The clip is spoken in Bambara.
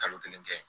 Kalo kelen kɛ